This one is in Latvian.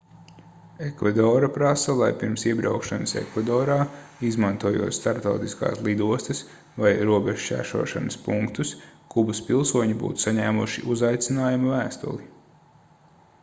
ekvadora prasa lai pirms iebraukšanas ekvadorā izmantojot starptautiskās lidostas vai robežšķērsošanas punktus kubas pilsoņi būtu saņēmuši uzaicinājuma vēstuli